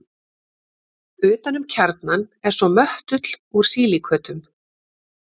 Utan um kjarnann er svo möttull úr sílíkötum.